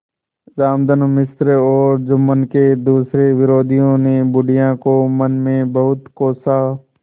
रामधन मिश्र और जुम्मन के दूसरे विरोधियों ने बुढ़िया को मन में बहुत कोसा